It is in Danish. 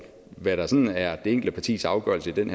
hvad der sådan er det enkelte partis afgørelse i den